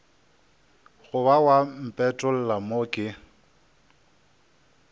goba wa mpetolla mo ke